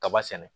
Kaba sɛnɛ